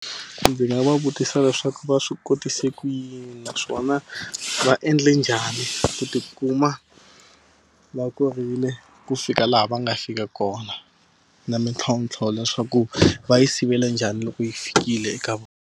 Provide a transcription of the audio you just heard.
Ndzi nga va vutisa leswaku va swi kotise ku yini? Naswona va endle njhani ku ti kuma va korile ku fika laha va nga fika kona? Na mintlhontlho leswaku va yi sivela njhani loko yi fikile eka vona.